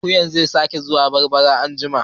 Akuyan nan zai sake zuwa barbara anjima